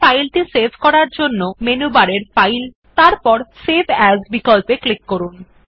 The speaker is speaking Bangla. ফাইলটি সেভ করার জন্য মেনু বারের ফাইল এর উপর এবং তারপর সেভ এএস বিকল্পে ক্লিক করুন